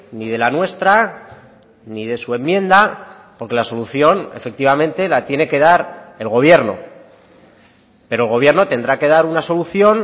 ni de la nuestra ni de su enmienda porque la solución efectivamente la tiene que dar el gobierno pero el gobierno tendrá que dar una solución